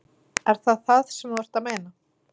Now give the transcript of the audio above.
Er það það sem þú ert að meina?